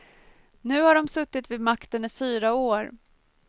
Nu har de suttit vid makten i fyra år.